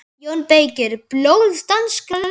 JÓN BEYKIR: Blóð danskra leppa!